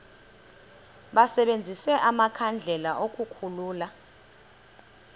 basebenzise amakhandlela ukukhulula